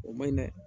O man ɲi dɛ